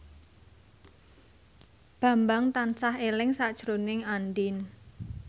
Bambang tansah eling sakjroning Andien